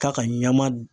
Ka ka ɲama